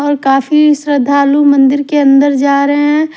और काफी श्रद्धालु मंदिरके अंदर जा रहे हैं।